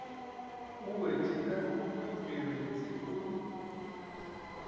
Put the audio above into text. o wetše ka mokhwipebetse o